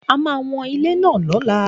A máa wọn ilẹ̀ náà lọ́la